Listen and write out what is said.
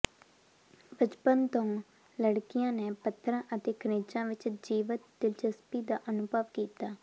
ਬਚਪਨ ਤੋਂ ਲੜਕੀਆਂ ਨੇ ਪੱਥਰਾਂ ਅਤੇ ਖਣਿਜਾਂ ਵਿਚ ਜੀਵੰਤ ਦਿਲਚਸਪੀ ਦਾ ਅਨੁਭਵ ਕੀਤਾ